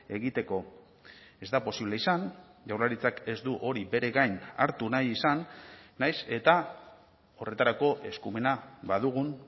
egiteko ez da posible izan jaurlaritzak ez du hori bere gain hartu nahi izan nahiz eta horretarako eskumena badugun